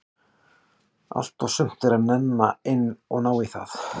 Allt og sumt er að nenna inn að ná í það.